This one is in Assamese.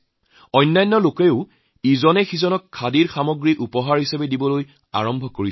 যিকোনো লোকে এজনে আনজনক উপহাৰ হিচাপে খাদীৰ সামগ্ৰী প্ৰদান কৰিছে